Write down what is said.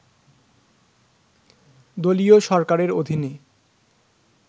দলীয় সরকারের অধীনে